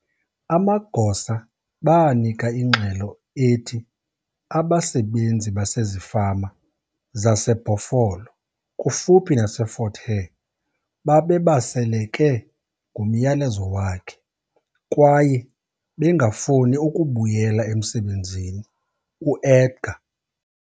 Amagosa banika ingxelo ethi abasebenzi basezifama zaseBhofolo, kufuphi naseFort Hare, "babebaseleke ngumyalezo wakhe kwaye bengafuni ukubuyela emsebenzini", uEdgar.